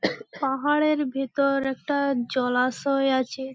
পাহাড়ের ভিতর একটা জলাশয় আছে ।